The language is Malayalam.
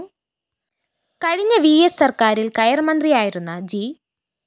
കഴിഞ്ഞ വിഎസ് സര്‍ക്കാരില്‍ കയര്‍ മന്ത്രിയായിരുന്ന ജി